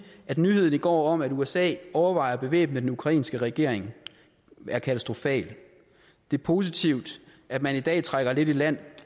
at nyheden i går om at usa overvejer at bevæbne den ukrainske regering er katastrofal det er positivt at man i dag trækker lidt i land